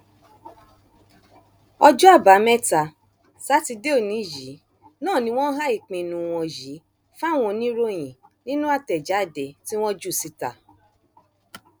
ọjọ àbámẹta sátidé òní yìí náà ni wọn há ìpinnu wọn yìí fáwọn oníròyìn nínú àtẹjáde tí wọn jù síta